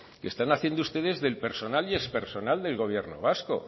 que están haciendo ustedes del personal y expersonal del gobierno vasco